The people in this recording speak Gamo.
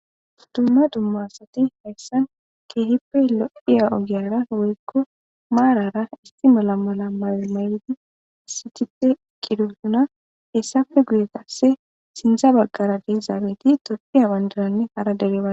Dumma dumma Asat haysan keehippe lo'iya ogiyara woyko marara issi mala mala mayo mayid issipet eqidosona, hesappe guye qase sinthe bagara de'iyaget tophiya bandranne hara dere Bandra